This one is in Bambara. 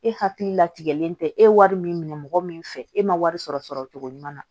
E hakili latigɛlen tɛ e wari min mɔgɔ min fɛ e ma wari sɔrɔ sɔrɔ cogo ɲuman na